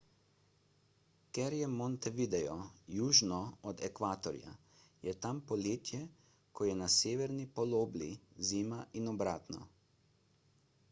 ker je montevideo južno od ekvatorja je tam poletje ko je na severni polobli zima in obratno